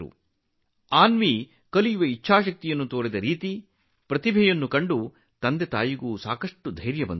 ಮಗಳು ಅನ್ವಿ ಕಲಿಯುವ ಇಚ್ಛಾಶಕ್ತಿ ತೋರಿದ ರೀತಿ ಪ್ರತಿಭೆ ಪ್ರದರ್ಶಿಸಿದ ರೀತಿಗೆ ಪೋಷಕರ ಪ್ರೋತ್ಸಾಹವೂ ಸಿಕ್ಕಿತು